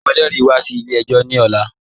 Mu ẹlẹri wà sí ilẹ̀-ẹ̀jọ ni ọ̀là